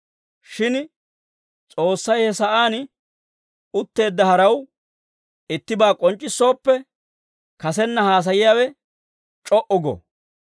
Shin S'oossay he sa'aan utteedda haraw ittibaa k'onc'c'issooppe, kasenna haasayiyaawe c'o"u go.